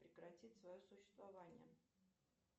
прекратить свое существование